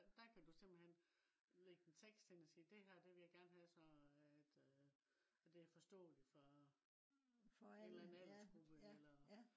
der kan du simpelthen ligge en tekst ind og sige det her vil jeg gerne have så det øh så det er forståeligt for en eller anden aldersgruppe eller